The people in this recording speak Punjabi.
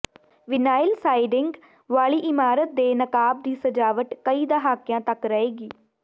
ਵਿਨਾਇਲ ਸਾਇਡਿੰਗ ਵਾਲੀ ਇਮਾਰਤ ਦੇ ਨਕਾਬ ਦੀ ਸਜਾਵਟ ਕਈ ਦਹਾਕਿਆਂ ਤੱਕ ਰਹੇਗੀ